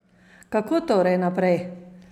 Kako torej naprej?